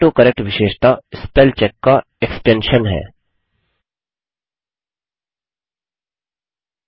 autocorrect विशेषता spellcheck का extension विस्तार है